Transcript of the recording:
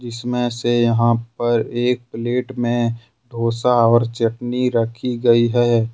इसमें से यहां पर एक प्लेट में डोसा और चटनी रखी गई है।